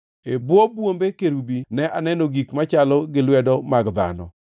E bwo bwombe kerubi ne aneno gik machalo gi lwedo mag dhano.